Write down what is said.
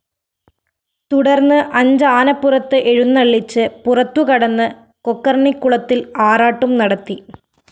തുടര്‍ന്ന് അഞ്ചാനപ്പുറത്ത് എഴുന്നള്ളിച്ച് പുറത്തു കടന്ന് കൊക്കര്‍ണിക്കുളത്തില്‍ ആറാട്ടും നടത്തി